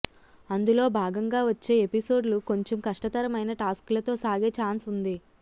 అందులో భాగంగా వచ్చే ఎపిసోడ్ లు కొంచెం కష్టతరమైన టాస్క్ లతో సాగే చాన్స్ ఉంది